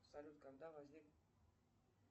салют когда возник